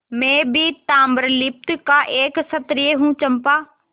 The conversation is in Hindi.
मैं भी ताम्रलिप्ति का एक क्षत्रिय हूँ चंपा